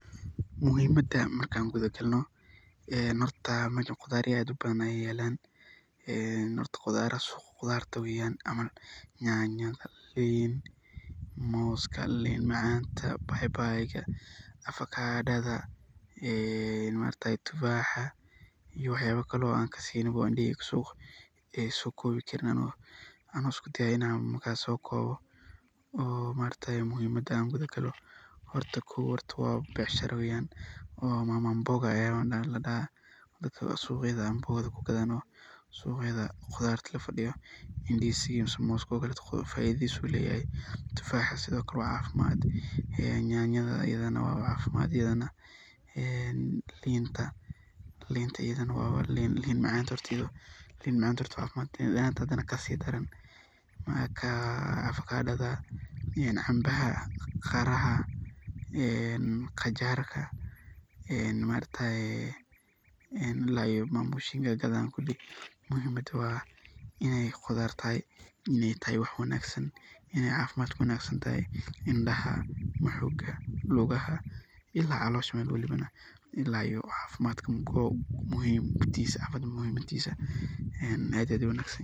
Muhimada marka kutha kalnoh hoorta meshan quthar ad iyo aad u bathan Aya yalan ee hoorta qutharta weeyan nyantha linta moosga linta macantaa baybaytaa afagadatha ee maaragtay tuufaxas iyo waxyaba Kari oo kasieynin ee suqaa ee la so koobi karinwaxan iskudaa Ina sokooboh oo maaragtay muhimada kuthagaloh hoorta know beecsharada weeyan ooo mama amboga hori suuqayatha quthart lafadeyoh mooska tuufaxas sethi Kali cafimad ayu leeyahay ee nyantha ee linta wa linta macan kasidaran avagadtha ini cambaha ee qajaarta ee maaragtay mama ambogaa muhimada wa Ina quthartahay wax wanagsan Ina cafimad kuwanagsanyahay luuga ila callosha ila cafimdkaa oo dhan.